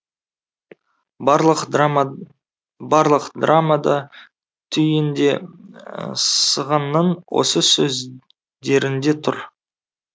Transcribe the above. барлық драма барлық драма да түйін де сығанның осы сөздерінде тұр